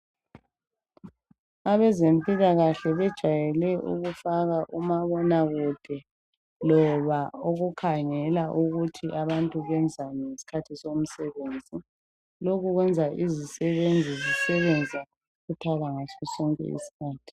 Abezempilakahle bajayele ukufaka umabonakude loba ukukhangela ukuthi abantu benzani ngesikhathi somsebenzi lokhu kwenza izisebenzi zisebenze ngokukhuthala ngasosonke isikhathi.